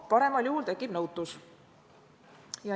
Paremal juhul tekib nõutus.